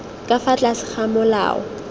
ka fa tlase ga molao